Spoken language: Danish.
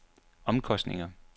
omkostninger